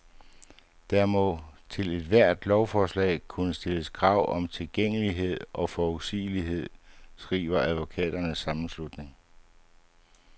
Der må til ethvert lovforslag kunne stilles krav om tilgængelighed og forudsigelighed, skriver advokaternes sammenslutning.